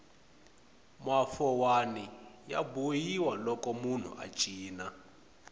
mafowani ya bohiwa loko munhu a cina